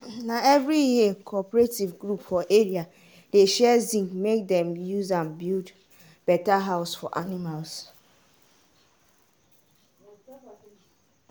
na every year cooperative group for area dey share zinc make dem use am build better house for animals.